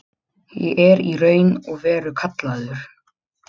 Ég er í raun og veru kallaður.